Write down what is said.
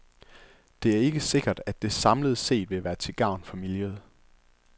Det er ikke sikkert, at det samlet set vil være til gavn for miljøet.